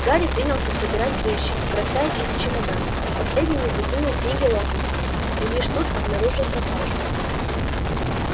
гарри принялся собирать вещи бросая их в чемодан последними закинул книги локонса и лишь тут обнаружил пропажу